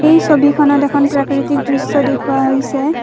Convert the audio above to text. এই ছবিখনত এখন প্ৰাকৃতিক দৃশ্য দেখুওৱা হৈছে।